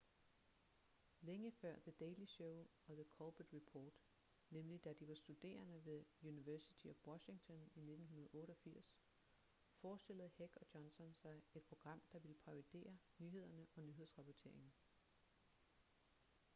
længe før the daily show og the colbert report nemlig da de var studerende ved university of washington i 1988 forestillede heck og johnson sig et program der ville parodiere nyhederne og nyhedsrapporteringen